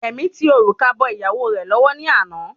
Rẹ̀mí tí òrùka bọ ìyàwó rẹ̀ lọ́wọ́ ni àná